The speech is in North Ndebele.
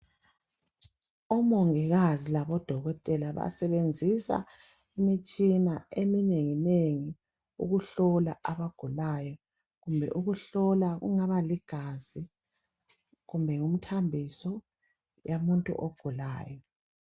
Omongikazi labadokotela basebenzisa imitshina eminengi nengi ukuhlola abagulayo kumbe ukuhlola kungaba ligazi, kumbe ngumthambiso yomuntu ogulayo.